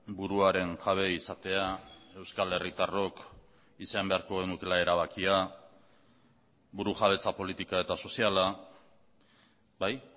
buruaren jabe izatea euskal herritarrok izan beharko genukeela erabakia burujabetza politika eta soziala bai